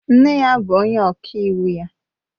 Nne ya bụ onye ọka iwu ya